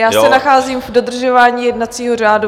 Já se nacházím v dodržování jednacího řádu.